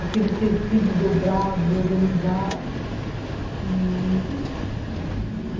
aqueles tecidos dobrados, organizados e...